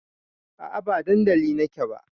A'a ba dandali na ke ba